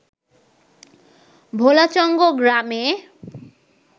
ভোলাচঙ্গ গ্রামে